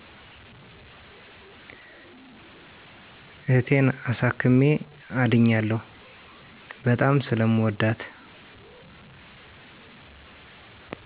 እህቴን አሳክሜ አድኛለሁ። በጣም ስለምወዳት